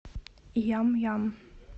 ям ям